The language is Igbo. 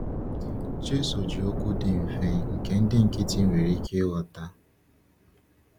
Jésù ji okwu dị mfe nke ndị nkịtị nwere ike ịghọta.